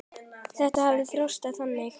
Þetta hefur bara þróast þannig.